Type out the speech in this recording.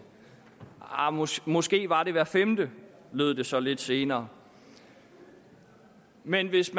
arh måske måske var det hver femte lød det så lidt senere men hvis